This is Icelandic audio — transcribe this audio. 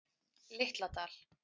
Litla Dal